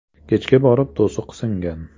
Kechga borib to‘siq singan.